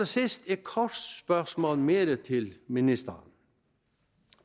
sidst et kort spørgsmål mere til ministeren